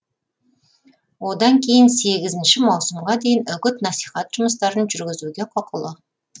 одан кейін сегізінші маусымға дейін үгіт насихат жұмыстарын жүргізуге құқылы